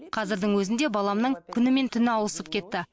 қазірдің өзінде баламның күн мен түні ауысып кетті